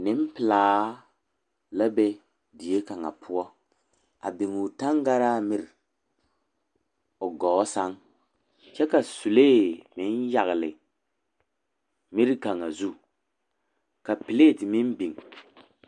Nempelaa la be die kaŋa poɔ a biŋ o taŋgaraa miri o gɔɔ sɛŋ kyɛ ka sulee meŋ yagli a miri kaŋa zu ka pilate meŋ biŋ.